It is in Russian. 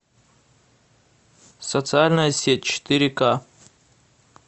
социальная сеть четыре ка